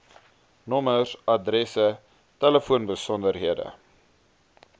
nommers adresse telefoonbesonderhede